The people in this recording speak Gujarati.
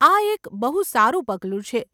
આ એક બહુ સારું પગલું છે.